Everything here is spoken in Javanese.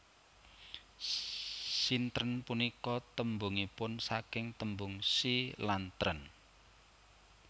Sintren punika tembungipun saking tembung Si lan tren